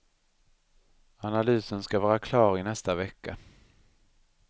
Analysen ska vara klar i nästa vecka.